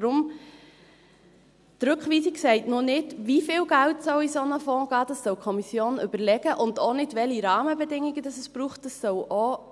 Deshalb: Die Rückweisung sagt noch nicht, wie viel Geld in einen solchen Fonds gehen soll – das soll sich die Kommission überlegen –, und auch nicht, welche Rahmenbedingungen es braucht – das soll danach auch